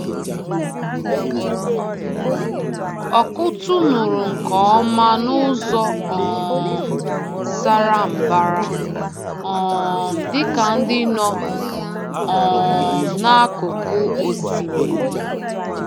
Ọkụ́tụ̀ nụrụ nke ọma n’ụzọ um sara mbara, um dịka ndị nọ um n’akụkụ osimiri.